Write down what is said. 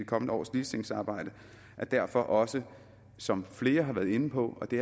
kommende års ligestillingsarbejde er derfor også som flere har været inde på og det